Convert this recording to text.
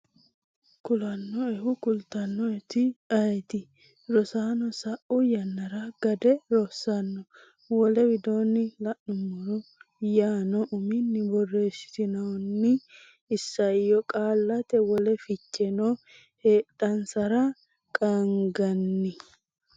kulannoehu kultannoeti ayeeti? Rosaano sa’u yannara ‘Gade’ Rosaano, wole widoonni la’nummoro yaanno uminni borreessitinoonni isayyo qaallate wole ficheno heedhansara qaagginanni?